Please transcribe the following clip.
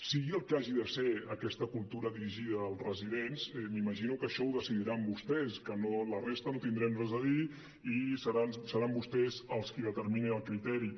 sigui el que hagi de ser aquesta cultura dirigida als residents m’imagino que això ho decidiran vostès que la resta no tindrem res a dir i seran vostès els qui determinin el criteri